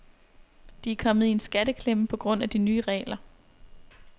De er kommet i en skatteklemme på grund af de nye regler.